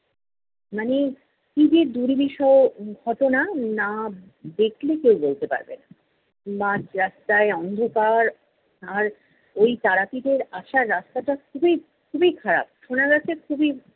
মানে, কী যে দুর্বিষহ ঘটনা না দেখলে কেউ বলতে পারবেনা। মাঝ রাস্তায় অন্ধকার, আর ঐ তারা পীঠের আসার রাস্তাটা খুবই খুবই খারাপ শোনা যাচ্ছে খুবই